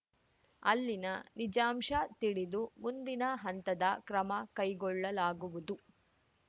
ಅಲ್ಲಿನ ನಿಜಾಂಶ ತಿಳಿದು ಮುಂದಿನ ಹಂತದ ಕ್ರಮ ಕೈಗೊಳ್ಳಲಾಗುವುದು